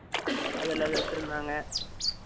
அதுல அது வச்சி இருந்தாங்க